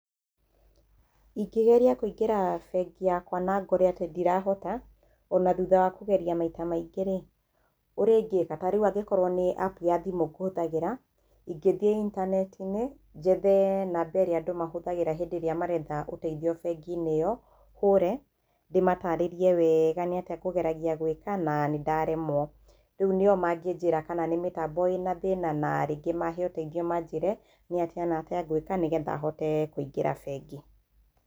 Ingĩgeria kũingĩra bengi yakwa na ngore atĩ ndirahota o na thutha wa kũgeria maita maingĩ rĩ, ũrĩa ingĩka, ta rĩu o korwo nĩ app ya thimũ ngũhũthagĩra, ingĩthiĩ intaneti-inĩ, njethe namba ĩrĩa andũ mahũthagĩra hĩndĩ ĩria maraetha ũteithio bengi-inĩ ĩyo, hũre. Ndĩmataarĩrie wega nĩ atĩa ngũgeragia gwĩka na nĩ ndaremwo. Rĩu nĩ o mangĩnjĩra kana nĩ mĩtambo ĩna thĩna na rĩngĩ mahe ũteithio manjĩre nĩ atĩa na atĩa ngwĩka nĩgetha hote kũingĩra bengi.